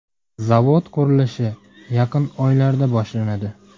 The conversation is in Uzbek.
Zavod qurilishi yaqin oylarda boshlanadi.